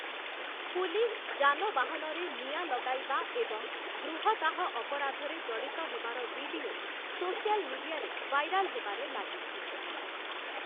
Police ଯାନବାହନରେ ନିଆଁ ଲଗାଇବା ଏବଂ ଗୃହଦାହ ଅପରାଧରେ ଜଡ଼ିତ ହେବାର ଭିଡିଓ, ସୋସିଆଲ ମିଡିଆରେ ଭାଇରାଲ ହେବାରେ ଲାଗିଛି ।